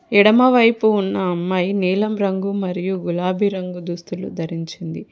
ఎడమవైపు ఉన్న అమ్మాయి నీలం రంగు మరియు గులాబీ రంగు దుస్తులు ధరించింది.